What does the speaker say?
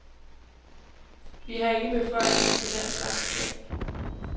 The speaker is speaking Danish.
Vi har ikke beføjelser til den slags ting.